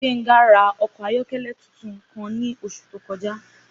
Gbénga rà okò ayókélé tuntun kan ní osù tó kojá